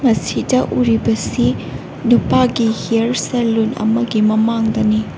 ꯁꯤꯗ ꯎꯔꯤꯕ ꯑꯁꯤ ꯅꯨꯄꯥꯒꯤ ꯍꯤꯌꯥꯔ ꯑꯃꯒꯤ ꯁꯦꯂꯣꯟ ꯑꯃꯒꯤ ꯃꯃꯥꯡꯗꯅꯤ꯫